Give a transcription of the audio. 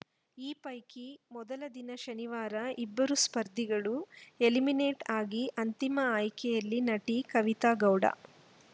ಈ ಪೈಕಿ ಮೊದಲ ದಿನ ಶನಿವಾರ ಇಬ್ಬರು ಸ್ಪರ್ಧಿಗಳು ಎಲಿಮಿನೇಟ್‌ ಆಗಿ ಅಂತಿಮ ಆಯ್ಕೆಯಲ್ಲಿ ನಟಿ ಕವಿತಾ ಗೌಡ